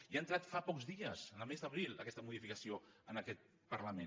i ha entrat fa pocs dies el mes d’abril aquesta modificació en aquest parlament